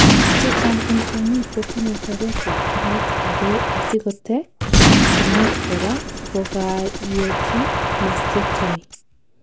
chechang en kwonyik kotinyei chobet ab kinet agei asikotech kinet kora kokakeyochi mastectomy